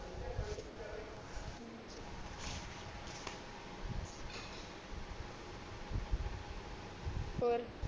ਹੋਰ